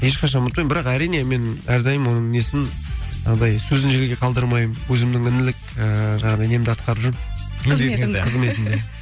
ешқашан ұмытпаймын бірақ әрине мен әрдайым оның несін жаңағыдай сөзін жерге қалдырмаймын өзімнің інілік ііі жаңағыдай немді ақтарып жүрмін қызметімді қызметімді